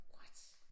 What!